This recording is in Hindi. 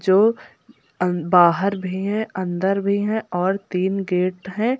जो अं बाहर भी हैं अंदर भी हैं और तीन गेट हैं।